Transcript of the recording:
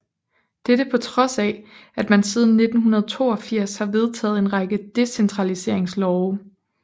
Dette på trods af at man siden 1982 har vedtaget en række decentraliseringslove